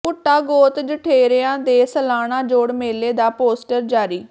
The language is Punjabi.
ਭੁੱਟਾ ਗੋਤ ਜਠੇਰਿਆਂ ਦੇ ਸਾਲਾਨਾ ਜੋੜ ਮੇਲੇ ਦਾ ਪੋਸਟਰ ਜਾਰੀ